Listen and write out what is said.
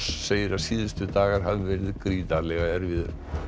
segir að síðustu dagar hafi verið gríðarlega erfiðir